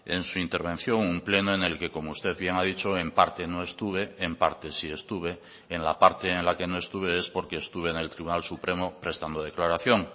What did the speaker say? en su intervención un pleno en el que como usted bien ha dicho en parte no estuve en parte sí estuve en la parte en la que no estuve es porque estuve en el tribunal supremo prestando declaración